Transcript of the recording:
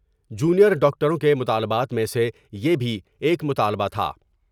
جو نیر ڈاکٹروں کے مطالبات میں سے یہ بھی ایک مطالبہ تھا ۔